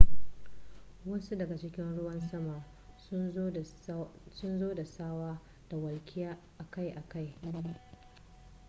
wasu daga cikin ruwan sama sun zo da tsawa da walƙiya akai-akai